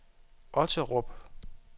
Otterup